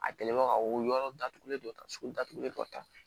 A kɛlen ba ka o yɔrɔ datugulen dɔ ta sogo datugulen kɔ tan